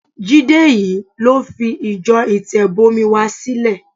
Jídé yìí ló fi ìjọ Ìtẹ̀bọmi wa sílẹ̀.